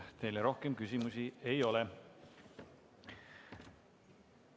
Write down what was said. Teile rohkem küsimusi ei ole.